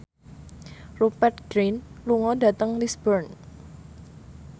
Rupert Grin lunga dhateng Lisburn